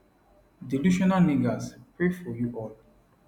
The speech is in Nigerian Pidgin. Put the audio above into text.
delusional niggas pray for you all